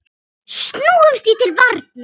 Snúumst því til varnar!